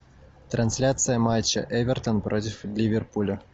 трансляция матча эвертон против ливерпуля